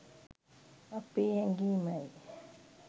අපේ හැඟීමයි.